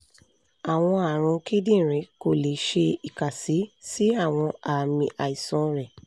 awọn arun kidinrin ko le ṣe ikasi si awọn aami aisan rẹ